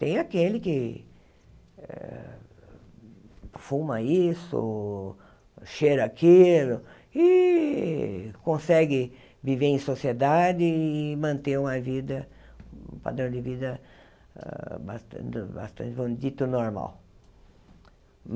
Tem aquele que eh fuma isso, cheira aquilo e consegue viver em sociedade e manter uma vida um padrão de vida ah bastante, dito, normal.